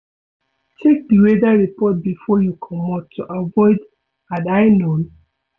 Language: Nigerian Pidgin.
Check di weather report before you comot to avoid "had I known"